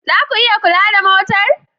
Za ku iya kula da motar?